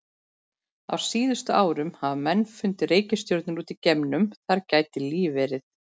Á síðustu árum hafa menn fundið reikistjörnur út í geimnum þar sem líf gæti verið.